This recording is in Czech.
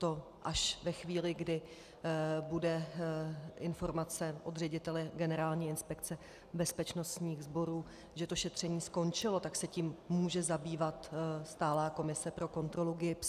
To až ve chvíli, kdy bude informace od ředitele Generální inspekce bezpečnostních sborů, že to šetření skončilo, tak se tím může zabývat stálá komise pro kontrolu GIBS.